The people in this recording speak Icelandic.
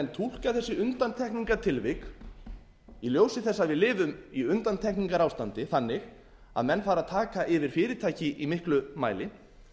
menn túlka þessi undantekningartilvik í ljósi þess að við lifum í undantekningarástandi þannig að menn fara að taka yfir fyrirtæki í miklum mæli